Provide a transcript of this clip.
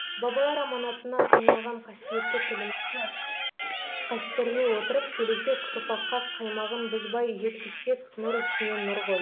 бабалар аманатына айналған қасиетті тілімізді қастерлей отырып келешек ұрпаққа қаймағын бұзбай жеткізсек нұр үстіне нұр ғой